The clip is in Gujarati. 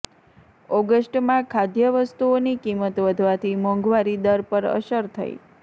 ઓગસ્ટમાં ખાદ્યવસ્તુઓની કિંમત વધવાથી મોંઘવારી દર પર અસર થઈ